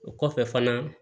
O kɔfɛ fana